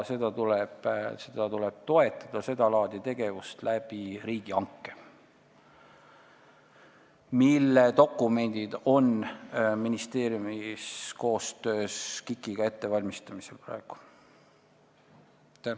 Seda laadi tegevust tuleb toetada riigihanke kaudu ja neid dokumente valmistab ministeerium praegu koostöös KIK-iga ette.